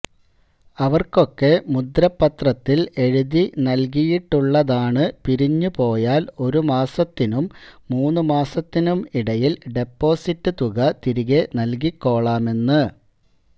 അവര്ക്കൊക്കെ മുദ്രപത്രത്തില് എഴുതി നല്കിയിട്ടുള്ളതാണ് പിരിഞ്ഞു പോയാല് ഒരു മാസത്തിനും മൂന്നു മാസത്തിനും ഇടയില് ഡെപ്പോസിറ്റ് തുക തിരികെ നല്കിക്കോളാമെന്ന്